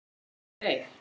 Eða bíddu, nei.